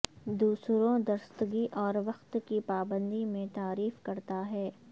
دوسروں درستگی اور وقت کی پابندی میں تعریف کرتا ہے